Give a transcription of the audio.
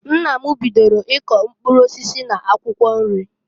Nna m bidoro i kọ mkpụrụ osisi na akwụkwọ nri.